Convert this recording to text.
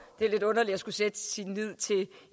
det er lidt underligt at skulle sætte sin lid til